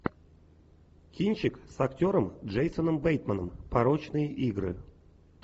кинчик с актером джейсоном бейтманом порочные игры